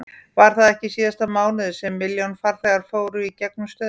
Var það ekki í síðasta mánuði sem milljón farþegar fóru í gegnum stöðina?